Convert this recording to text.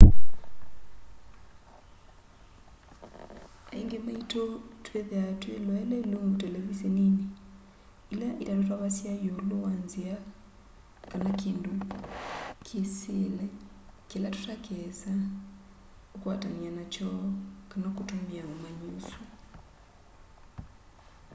aingĩ maitũ twĩthĩaa twĩloele ilungu televiseninĩ ila itatũtavasya ĩũlũ wa nzĩa kana kĩndũ kĩĩsĩle kĩla tũtakeesa ũkwatanĩa nakyo kana kũtũmĩa ũmanyi ũsu